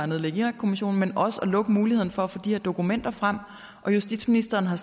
nedlægge irakkommissionen men også at lukke muligheden for at få de her dokumenter frem og justitsministeren har